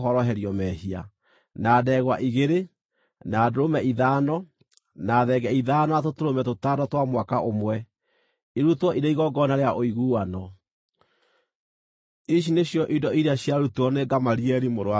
na ndegwa igĩrĩ, na ndũrũme ithano, na thenge ithano, na tũtũrũme tũtano twa mwaka ũmwe, irutwo irĩ igongona rĩa ũiguano. Ici nĩcio indo iria ciarutirwo nĩ Gamalieli mũrũ wa Pedazuru.